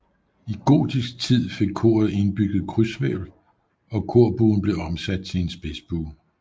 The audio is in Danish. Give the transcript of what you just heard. I gotisk tid fik koret indbygget krydshvælv og korbuen blev omsat til en spidsbue